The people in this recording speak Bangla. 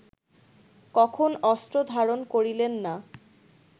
কখন অস্ত্র ধারণ করিলেন না